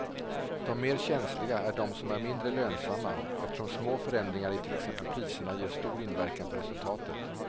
De mer känsliga är de som är mindre lönsamma eftersom små förändringar i till exempel priserna ger stor inverkan på resultatet.